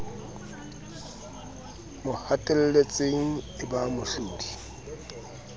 mo hatelletseng e ba mohlodi